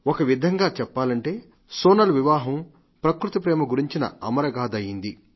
ఒకవిధంగా సోనల్ వివాహం ప్రకృతి ప్రేమ గురించిన అమరగాథ అయింది